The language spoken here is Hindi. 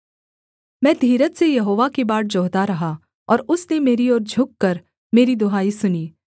मैं धीरज से यहोवा की बाट जोहता रहा और उसने मेरी ओर झुककर मेरी दुहाई सुनी